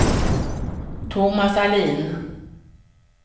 Tomas Ahlin